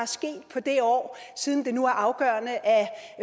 sket på det år siden det nu er afgørende at